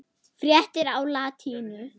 Fréttir á latínu